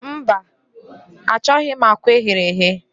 Mba, achọghị m akwa eghere eghe.